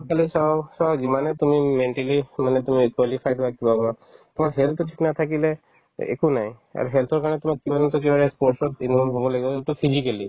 আৰু সেইফালে চাও so যিমানে তুমি mentally মানে তুমি qualified হোৱা কিবা হোৱা তোমাৰ health তো ঠিক নাথাকিলে একো নাই আৰু health ৰ কাৰণে তোমাক কিমানতো একেবাৰে sports ত হ'ব লাগিব যোনতো physically